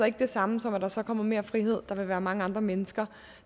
ikke det samme som at der så kommer mere frihed der vil være mange andre mennesker